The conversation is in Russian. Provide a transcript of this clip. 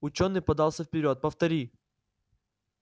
учёный подался вперёд повтори